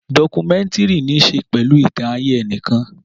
Dọ́kúmẹ̀ntìrì ní ṣe pẹ̀lú ìtàn ayé enìkan